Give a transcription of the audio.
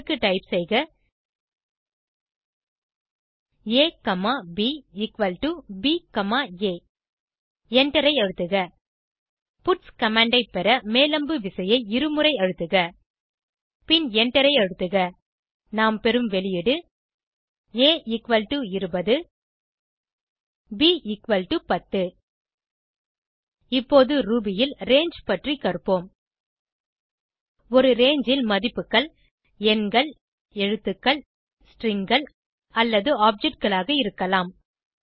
அதற்கு டைப் செய்க a comma b equal to b comma a எண்டரை அழுத்துக பட்ஸ் கமாண்ட் ஐ பெற மேல் அம்பு விசையை இருமுறை அழுத்துக பின் எண்டரை அழுத்துக நாம் பெறும் வெளியீடு a20 b10 இப்போது ரூபி ல் ரங்கே பற்றி கற்போம் ஒரு ரங்கே ல் மதிப்புகள் எண்கள் எழுத்துக்கள் stringகள் அல்லது objectகளாக இருக்கலாம்